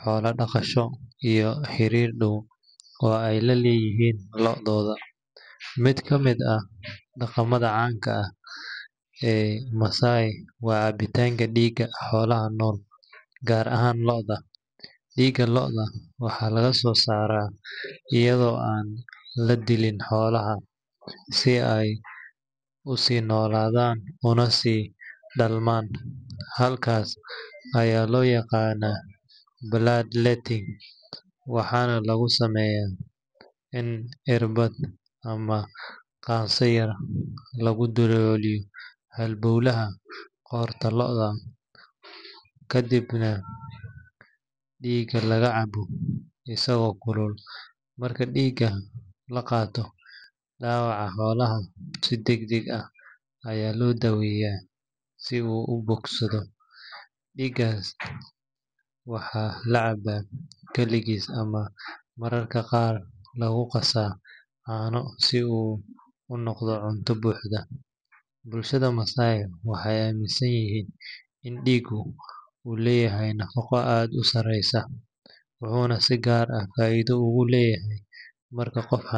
xoolo-dhaqasho iyo xiriir dhow oo ay la leeyihiin lo'dooda. Mid ka mid ah dhaqamada caanka ah ee Maasai waa cabitaanka dhiigga xoolaha nool, gaar ahaan lo’da. Dhiigga lo'da waxaa laga soo saaraa iyadoo aan la dilin xoolaha, si ay u sii noolaadaan una sii dhalmaan. Habkaas ayaa loo yaqaannaa bloodletting, waxaana lagu sameeyaa in irbad ama qaanso-yar lagu dalooliyo halbawlaha qoorta lo’da, kadibna dhiigga laga cabo isagoo kulul. Marka dhiigga la qaato, dhaawaca xoolaha si degdeg ah ayaa loo daweeyaa si uu u bogsado. Dhiiggan waxaa la cabbaa kaligiis ama mararka qaar lagu qasaa caano si uu u noqdo cunto buuxda. Bulshada Maasai waxay aaminsan yihiin in dhiiggu uu leeyahay nafaqo aad u sareysa, wuxuuna si gaar ah faa’iido ugu leeyahay marka qof.